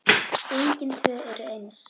Engin tvö eru eins.